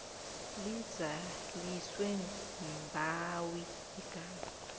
lizaliswe mbawi ingasi